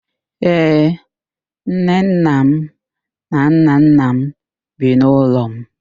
Ee, nnenna m na nnanna m bi n'ụlọ m.